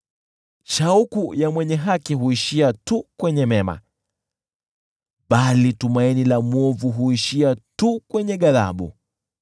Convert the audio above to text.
Shauku ya mwenye haki huishia tu kwenye mema, bali tumaini la mwovu huishia tu kwenye ghadhabu.